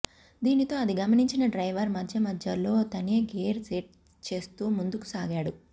దీనితో అది గమనించిన డ్రైవర్ మధ్యమధ్యలో తనే గేర్ సెట్ చేస్తూ ముందుకుసాగాడు